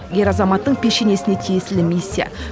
ер азаматтың пешенесіне тиесілі миссия